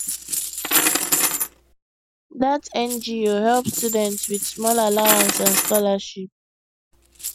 that ngo help students with small allowance and scholarship